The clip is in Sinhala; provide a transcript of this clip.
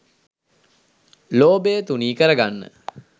ලෝභය තුනී කරගන්න